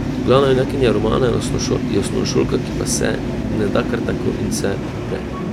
Glavna junakinja romana je osnovnošolka, ki pa se ne da kar tako in se upre.